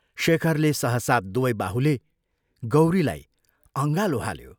शेखरले सहसा दुवै बाहुले गौरीलाई अँगालो हाल्यो।